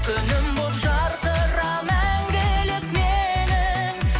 күнім болып жарқыра мәңгілік менің